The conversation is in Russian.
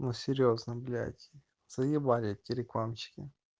ну серьёзно блядь заебали эти рекламщики